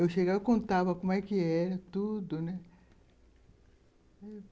Eu chegava e contava como era, tudo, né.